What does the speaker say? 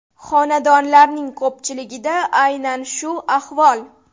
Xonadonlarning ko‘pchiligida aynan shu ahvol.